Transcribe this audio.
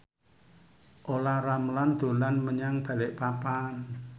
Olla Ramlan dolan menyang Balikpapan